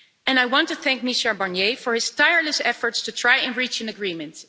I want to thank Michel Barnier for his tireless efforts to try and reach an agreement.